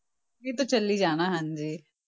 ਇਹ ਤਾਂ ਚੱਲੀ ਜਾਣਾ ਹਾਂਜੀ।